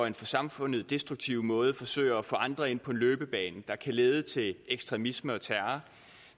en for samfundet destruktiv måde forsøger at få andre ind på en løbebane der kan lede til ekstremisme og terror